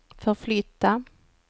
förflytta